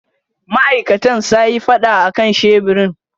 Ma'aikatan sayi fada akan sheburin.